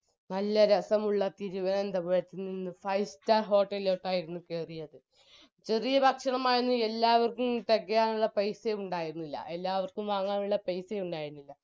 നല്ല രസമുള്ള തിരുവനന്തപുരത്തുനിന്ന് five star hotel ലേക്കായിരുന്നു കയറിയത് ചെറിയ ഭക്ഷണമായിരുന്നു എല്ലാവര്ക്കും തെകയാനുള്ള പൈസ ഉണ്ടായിന്നില്ല എല്ലാവർക്കും വാങ്ങാനുള്ള പൈസ ഉന്നയിന്നില്ല